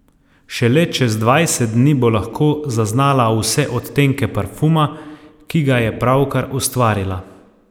Šele čez dvajset dni bo lahko zaznala vse odtenke parfuma, ki ga je pravkar ustvarila.